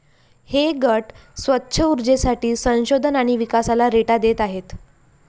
हे गट स्वच्छ उर्जेसाठी संशोधन आणि विकासाला रेटा देत आहेत.